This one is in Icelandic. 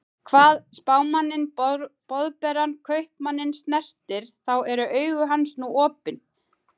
Hvað Spámanninn Boðberann Kaupmanninn snertir, þá eru augu hans nú opin.